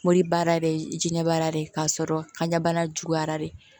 Moribaara bɛ diɲɛbaara de k'a sɔrɔ kaɲa bana juguyara de